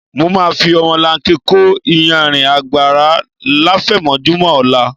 Mo máa fi ọmọlanke kó iyanrìn àgbàrá láfẹ̀mọ́júmọ́ ọ̀la